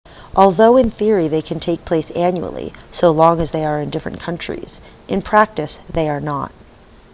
although in theory they can take place annually so long as they are in different countries in practice they are not